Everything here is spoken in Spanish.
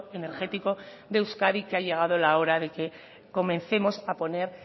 energético de euskadi que ha llegado la hora de que comencemos a poner